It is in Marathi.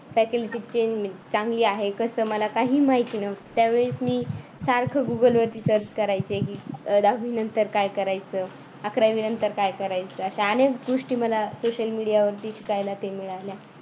faculty चांगली आहे कसं मला काहीही माहित नव्हतं कसं मला काही माहिती नव्हतं त्या वेळेस मी सारखं google वरती search करायचे दहावी नंतर काय करायचं अकरावी नंतर काय करायचं अशा अनेक गोष्टी मला social media वर ती शिकायला मिळाल्या.